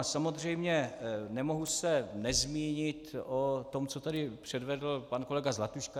A samozřejmě nemohu se nezmínit o tom, co tady předvedl pan kolega Zlatuška.